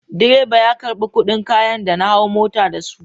Direba ya karɓi kuɗin kayan da na hau mota da su.